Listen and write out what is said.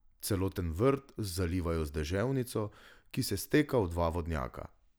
Celoten vrt zalivajo z deževnico, ki se steka v dva vodnjaka.